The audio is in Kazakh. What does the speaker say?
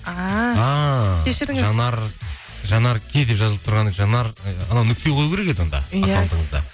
жанар жанарке деп жазылып тұрған жанар ы нүкте қою керек еді онда